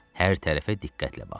Hər tərəfə diqqətlə bax.